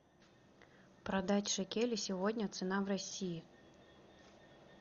продать шекели сегодня цена в россии